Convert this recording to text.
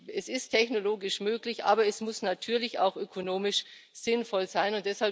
Es ist technologisch möglich, aber es muss natürlich auch ökonomisch sinnvoll sein.